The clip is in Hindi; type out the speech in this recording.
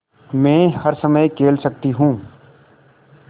मै हर समय खेल सकती हूँ